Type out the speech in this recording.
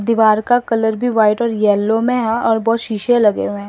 दीवार का कलर भी व्हाइट और येलो में है और बहुत शीशे लगे हुए हैं।